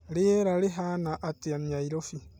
rĩera rĩhaana atĩa Nairobi